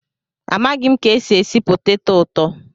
Amaghị m ka esi esi poteto ụtọ